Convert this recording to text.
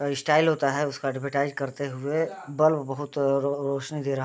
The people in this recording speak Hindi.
स्टाइल होता है उसका ऐड्वर्टाइज़ करते हुए बल्ब बहुत रो-रौशनी दे रहा है |